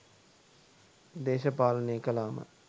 දේශපාලනේ කළාම